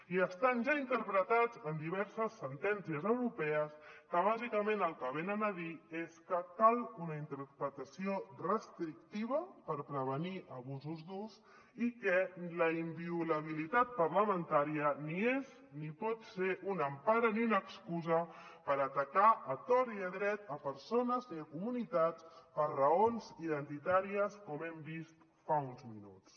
i estan ja interpretats en diverses sentències europees que bàsicament el que venen a dir és que cal una interpretació restrictiva per prevenir abusos durs i que la inviolabilitat parlamentària ni és ni pot ser una empara ni una excusa per atacar a tort i a dret persones ni comunitats per raons identitàries com hem vist fa uns minuts